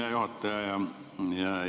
Hea juhataja!